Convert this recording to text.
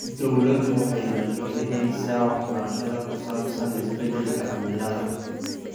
Dawladdu waxay maalgelinaysaa waxbarashada ku saabsan isbeddelka cimilada.